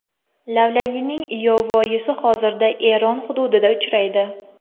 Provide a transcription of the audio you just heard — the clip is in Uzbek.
Lavlagining yovvoyisi hozirda Eron hududida uchraydi.